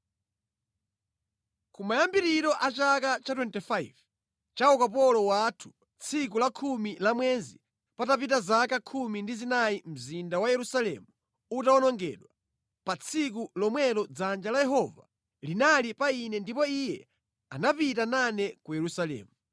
Kumayambiriro a chaka cha 25, cha ukapolo wathu, tsiku la khumi lamwezi, patapita zaka khumi ndi zinayi mzinda wa Yerusalemu utawonongedwa, pa tsiku lomwelo dzanja la Yehova linali pa ine ndipo Iye anapita nane ku Yerusalemu.